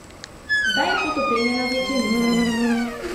Zdaj je pot opremljena z jeklenicami.